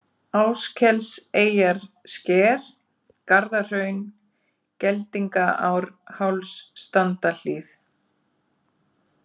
Áskelseyjarsker, Garðahraun, Geldingaárháls, Standahlíð